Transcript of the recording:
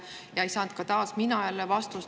Ja ei saanud ka mina jälle vastust.